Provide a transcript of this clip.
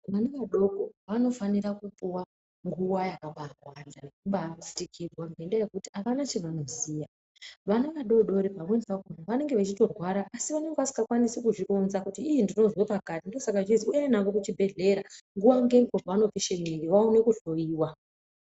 Vana vadoko vanofanira kupuwa nguwa yakawanda yekubatsirwa ngendaa yekuti hapana chavanoziva. Vana vadori dori pamweni pacho vanenge vechitorwara asi vanenge vasingakwanisi kuzvironza kuti iii ndinozwe pakati. Ndosaka zvichizi uende hako kuchibhedhlera nguwa ngenguwa pavanopishe mwiri vaone kuhloyiwa.